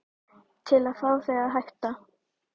Til að fá þig til að hætta.